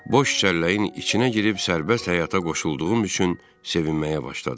Boş çəlləyin içinə girib sərbəst həyata qoşulduğum üçün sevinməyə başladım.